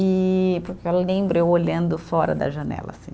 E porque eu lembro eu olhando fora da janela, assim.